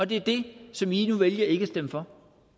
det er det som i nu vælger ikke at stemme for